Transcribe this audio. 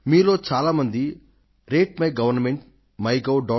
మీలో చాలామంది రేట్మైగవర్న్మెంట్మైగోవ్